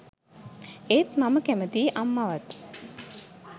ඒත් මම කැමැතියි අම්මවත්